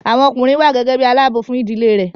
Àwọn ọkùnrin wà gẹ́gẹ́ bí i aláààbò fún ìdílé rẹ̀